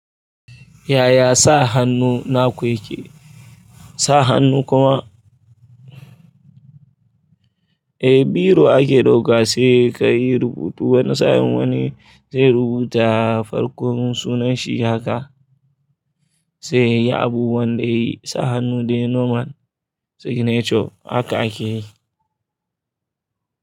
Yaya sa hannu naku yake? Sa hannu kuma, eh biro ake ɗauka sai ka yi rubutu wani sa'in wani zai rubuta farkon sunan shi haka. Sai yayi abubuwan da yayi, sa hannu dai nomal, signature haka ake yi.